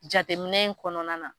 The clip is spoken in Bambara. Jateminɛ in kɔnɔna na